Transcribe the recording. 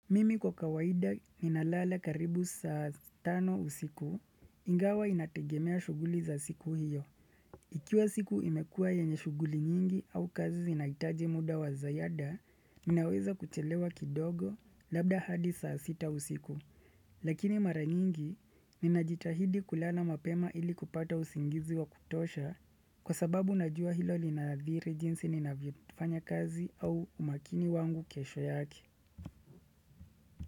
Mimi kwa kawaida ninalala karibu saa tano usiku, ingawa inategemea shuguli za siku hiyo. Ikiwa siku imekua yenye shuguli nyingi au kazi zinahitaji muda wa ziada, ninaweza kuchelewa kidogo labda hadi saa sita usiku. Lakini mara nyingi, ninajitahidi kulala mapema ili kupata usingizi wa kutosha, kwa sababu najua hilo linadhiri jinsi ninavyofanya kazi au umakini wangu kesho yake.